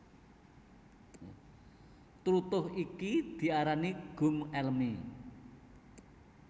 Tlutuh iki diarani gum elemi